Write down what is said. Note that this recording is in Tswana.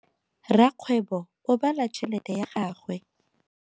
Rakgwebo o bala tšhelete ya gagwe.